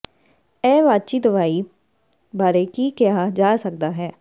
ਇਹ ਵਾਚੀ ਦਵਾਈ ਬਾਰੇ ਕੀ ਕਿਹਾ ਜਾ ਸਕਦਾ ਹੈ